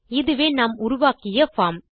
இதுவே நாம் உருவாக்கிய பார்ம்